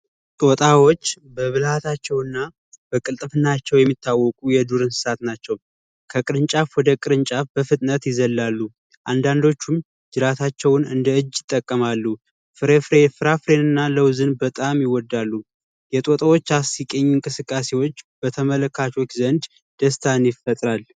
ጦጣዎች በመብልሃታቸው እና በቅልጥፍናቸው የሚታወቁ የዱር እንስሳት ናቸው። ከቅርንጫፍ ወደ ቅርንጫፍ በፍጥነት ይዘላሉ፤ አንዳንዶቹም ጅራታቸውን እንደ እጅ ይጠቀማሉ። ፍሬ ፍራፍሬን እና ለውዝን በጣም ይወዳሉ። የጦጣዎች አስቂኝ እንቅስቃሴዎች በተመልካቾች ዘንድ ደስታን ይፈጥራል።